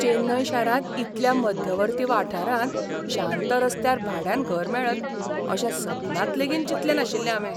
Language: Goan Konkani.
चेन्नय शारांत इतल्या मध्यवर्ती वाठारांत शांत रस्त्यार भाड्यान घर मेळत अशें सपनांत लेगीत चिंतलें नाशिल्लें हावें.